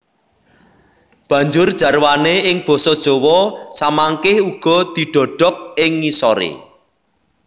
Banjur jarwané ing basa Jawa samangké uga didhokok ing ngisoré